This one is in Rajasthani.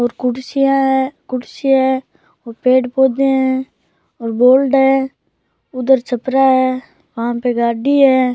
और कुर्सियां है कुर्सी है और पेड़ पौधे है और बोर्ड है उधर छपरा है वहां पे गाड़ी है।